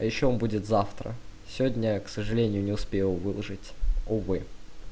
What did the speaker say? а ещё он будет завтра сегодня к сожалению не успел выложить увы